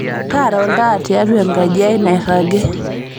taara oltaa tiaua enkaji ai nairagi